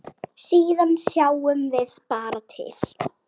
Síðan sjáum við bara til.